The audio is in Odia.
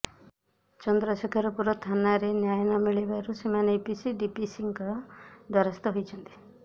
ଚନ୍ଦ୍ରଶେଖରପୁର ଥାନାରେ ନ୍ୟାୟ ନ ମିଳିବାରୁ ସେମାନେ ଏସିପି ଡିସିପିଙ୍କ ଦ୍ବାରସ୍ଥ ହୋଇଛନ୍ତି